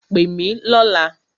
Pè mí lọ̀la!